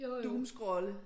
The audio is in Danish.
Doomscrolle